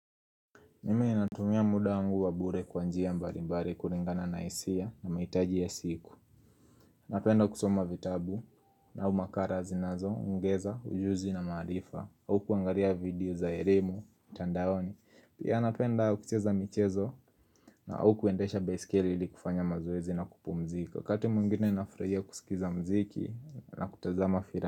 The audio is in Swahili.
Mimi natumia muda wangu wa bure kwa njia mbalimbali kulingana na hisia na mahitaji ya siku Napenda kusoma vitabu na au makala zinazoongeza, ujuzi na maarifa au kuangalia video za elimu mtandaoni Pia napenda kucheza michezo au kuendesha baisikeli ili kufanya mazoezi na kupumzika wakati mwingine nafurahia kusikiza muziki na kutazama filamu.